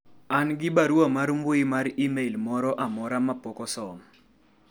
an gi barua mar mbui mar email moro amora ma pok osom